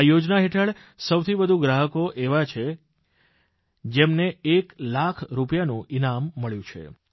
આ યોજના હેઠળ સૌથી વધુ ગ્રાહકો એવા છે જેમને એક એક લાખ રૂપિયાનું ઇનામ મળ્યું છે